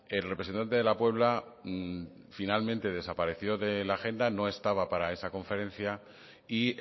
el representante de la puebla finalmente desapareció de la agenda no estaba para esa conferencia y